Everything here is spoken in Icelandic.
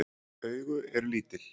Augu eru lítil.